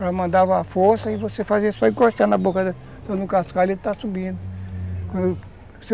Ela mandava a força e você fazia só encostar na boca do cascalho e ele estava subindo